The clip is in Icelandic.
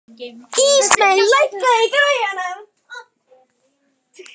Ísmey, lækkaðu í græjunum.